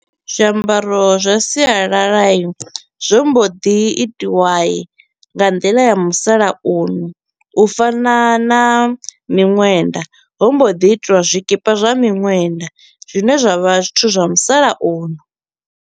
Zwiambaro zwa sialala i zwo mbo ḓi itiwa nga nḓila ya musalauno u fana na miṅwenda, ho mbo ḓi itiwa zwikipa zwa miṅwenda zwine zwa vha zwithu zwa musalauno.